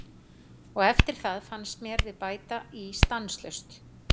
Og eftir það fannst mér við bæta í stanslaust.